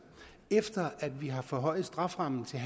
efter at vi har forhøjet strafferammen til